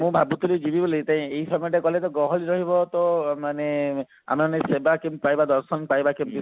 ମୁଁ ଭାବୁଥିଲି ଯିବି ବୋଲି ଏଇ ସମୟ ଟା ଗଲେ ତ ଗହଳି ହବ ଟିବି ମାନେ ଆମେ ମାନେ ସେବା କେମତି ପାଇବା ଦର୍ଶନ ପାଇବା କେମତି